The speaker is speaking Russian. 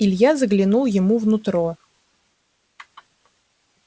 илья заглянул ему в нутро